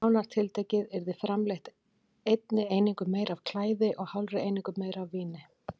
Nánar tiltekið yrði framleitt einni einingu meira af klæði og hálfri einingu meira af víni.